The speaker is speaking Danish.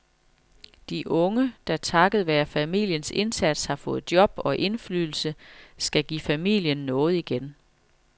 De unge, der takket være familiens indsats har fået job og indflydelse, skal give familien noget igen.